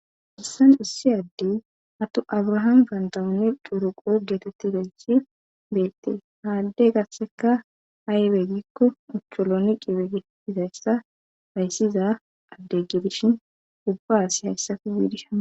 hahissan ussi addey atu abrahaam kaantamuni duruqo geetetti ganchi beette haadde gasseka haibe gikko mucholoniqibe getizayssa bayssiza addegge bishin ubba asi hayssafi biidishama